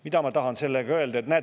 Mida ma tahan sellega öelda?